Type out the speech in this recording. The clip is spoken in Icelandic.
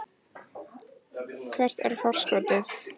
Hvert er forskotið?